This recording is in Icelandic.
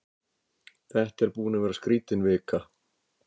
Þetta er búin að vera skrítin vika.